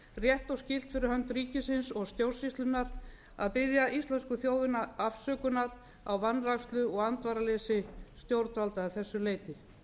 rétt og skylt fyrir hönd ríkisins og stjórnsýslunnar að biðja íslensku þjóðina afsökunar á vanrækslu og andvaraleysi stjórnvalda að þessu leyti